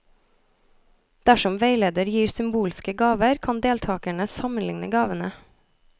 Dersom veileder gir symbolske gaver, kan deltakerne sammenlikne gavene.